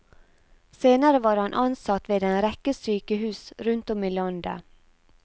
Senere var han ansatt ved en rekke sykehus rundt om i landet.